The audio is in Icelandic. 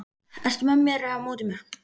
Ertu með mér eða á móti mér?